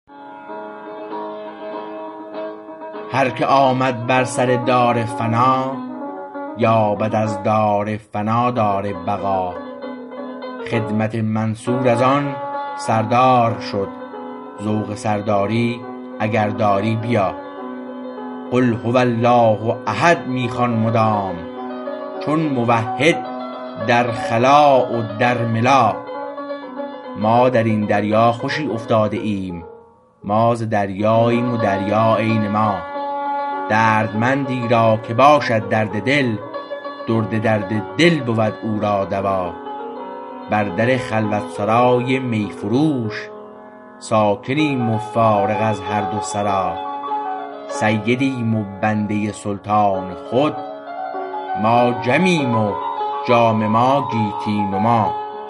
هر که آمد بر سر دار فنا یابد از دار فنا دار بقا خدمت منصور از آن سردار شد ذوق سرداری اگر داری بیا قل هو الله احد می خوان مدام چون موحد در خلا و در ملا ما درین دریا خوشی افتاده ایم ما ز دریاییم و دریا عین ما دردمندی را که باشد درد دل درد درد دل بود او را دوا بر در خلوتسرای می فروش ساکنیم و فارغ از هر دو سرا سیدیم و بنده سلطان خود ما جمیم و جام ما گیتی نما